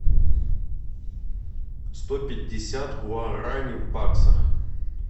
сто пятьдесят гуарани в баксах